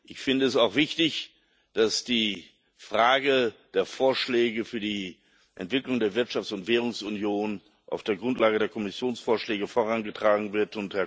Ich finde es auch wichtig, dass die Frage der Vorschläge für die Entwicklung der Wirtschafts und Währungsunion auf der Grundlage der Kommissionsvorschläge vorangetragen wird.